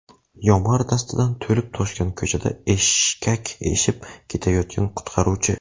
Yomg‘ir dastidan to‘lib toshgan ko‘chada eshkak eshib ketayotgan qutqaruvchi.